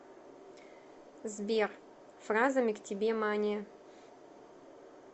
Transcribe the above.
сбер фразами к тебе мания